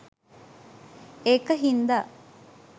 ඒක හින්දා